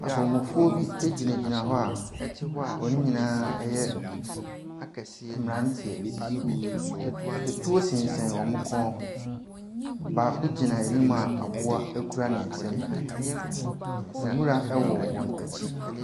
Abɔmmɔfoɔ bi gyinagyina hɔ a wɔn nyinaa yɛ mmeranteɛ. Etuo sensɛn wɔn kɔn ho. Baako gyina anim a aboa kura ne nsam. Nwura wɔ wɔn akyi.